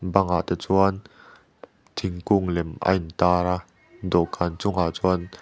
bangah te chuan thingkung lem a intar a dawhkan chungah chuan --